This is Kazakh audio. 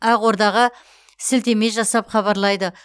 ақордаға сілтеме жасап хабарлайды